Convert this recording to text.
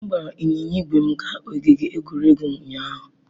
M gbara ịnyịnya ígwè m gaa ogige egwuregwu ụnyahụ.